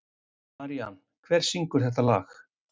Marían, hver syngur þetta lag?